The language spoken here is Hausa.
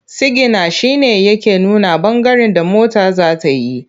Sigina shi ne yake nuna ɓangaren da mota za ta yi.